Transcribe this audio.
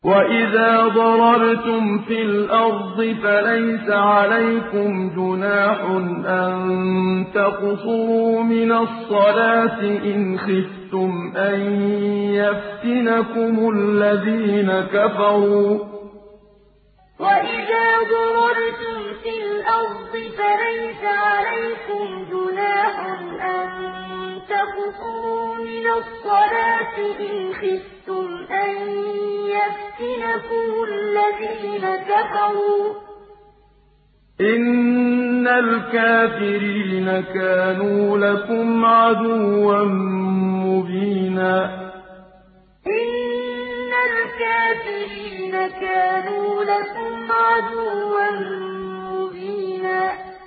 وَإِذَا ضَرَبْتُمْ فِي الْأَرْضِ فَلَيْسَ عَلَيْكُمْ جُنَاحٌ أَن تَقْصُرُوا مِنَ الصَّلَاةِ إِنْ خِفْتُمْ أَن يَفْتِنَكُمُ الَّذِينَ كَفَرُوا ۚ إِنَّ الْكَافِرِينَ كَانُوا لَكُمْ عَدُوًّا مُّبِينًا وَإِذَا ضَرَبْتُمْ فِي الْأَرْضِ فَلَيْسَ عَلَيْكُمْ جُنَاحٌ أَن تَقْصُرُوا مِنَ الصَّلَاةِ إِنْ خِفْتُمْ أَن يَفْتِنَكُمُ الَّذِينَ كَفَرُوا ۚ إِنَّ الْكَافِرِينَ كَانُوا لَكُمْ عَدُوًّا مُّبِينًا